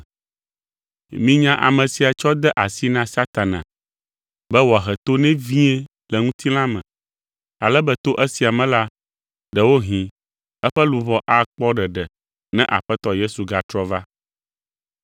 Minya ame sia tsɔ de asi na Satana be wòahe to nɛ vie le ŋutilã me, ale be to esia me la, ɖewohĩ eƒe luʋɔ akpɔ ɖeɖe ne Aƒetɔ Yesu gatrɔ va.